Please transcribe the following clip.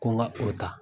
Ko ŋa o ta